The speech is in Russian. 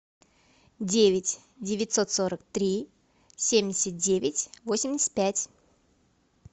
девять девятьсот сорок три семьдесят девять восемьдесят пять